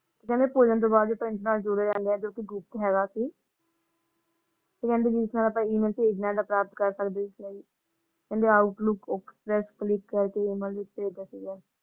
ਤੇ ਕਹਿੰਦੇ ਤੋਂ ਬਾਅਦ ਹੋਇਆ ਸੀ ਤੇ ਕਹਿੰਦੇ ਪ੍ਰਾਪਤ ਸਕਦੇ ਹਾਲੇ outlook click ਕਰਕੇ ।